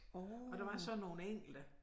Og der var så nogle enkelte